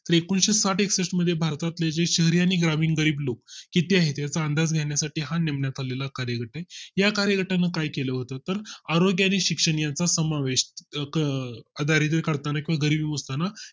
तर एकूणशे साठ एकष्ठ मध्ये भारतातील जे शहरी आणि ग्रामीण गरीब लोक किती आहेत याचा अंदाज घेण्यासाठी हा नेमण्यात आलेला हा कार्यगट आहे. या कार्यगटाने काय केलं होतं तर आरोग्य आणि शिक्षण याचा समावेष का अं दारिद्र्य काढताना किंवा गरिबी मोजताना